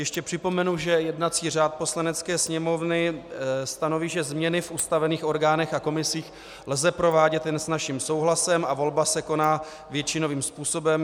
Ještě připomenu, že jednací řád Poslanecké sněmovny stanoví, že změny v ustavených orgánech a komisích lze provádět jen s naším souhlasem a volba se koná většinovým způsobem.